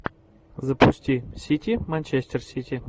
запусти сити манчестер сити